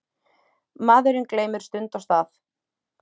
Maðurinn gleymir stund og stað.